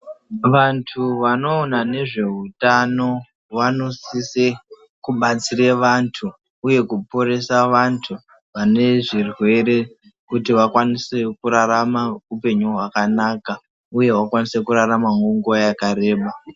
Vantu vanoona nezveutano vanosise kubatsire vantu uye kuporesa vantu vane zvirwere kuti vakwanisewo kurarama upenyu hwakanaka uye vakwanise kuraramawo nguwa yakareba.